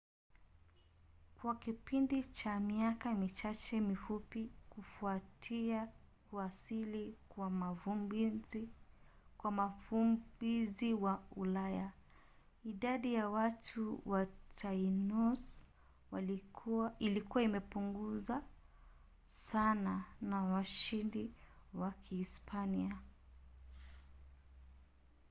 kwa kipindi cha miaka michache mifupi kufuatia kuwasili kwa wavumbuzi wa ulaya idadi ya watu ya tainos ilikuwa imepunguzwa sana na washindi wa kihispania